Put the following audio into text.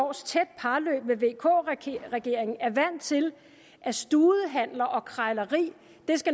års tæt parløb med vk regeringen er vant til at studehandler og krejleri